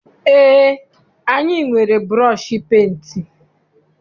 Eé, anyị nwere bụrọshi penti.